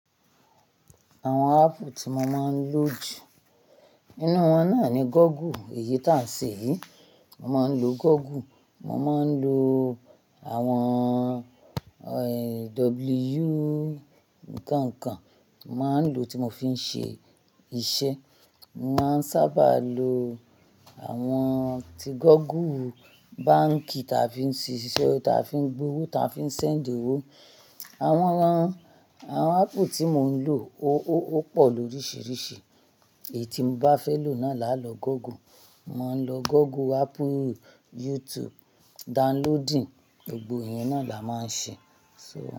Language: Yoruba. Àwọn app tí mo máa ń lo jù, nínú wọn náà ni Google èyí tí à ń ṣe yìí. Mo máa ń lo Google, mo máa ń lo àwọn, eh, W kankan mo máa ń lo tí mo fi ń ṣe iṣẹ́. Mo máa ń sábà lo àwọn tí Google, báǹkì ta fi ń ṣe iṣẹ́, ta fi ń gbé owó, ta fi ń send owó. Àwọn ran, àwọn app tí mo ń lò o pọ lóríṣiríṣi. Èyí tí mo bá fẹ́ lò náà làá lọ Google. Mo máa ń lo Google, Apple, YouTube, downloading, gbogbo ẹ̀yẹn náà làá máa ń ṣe. So.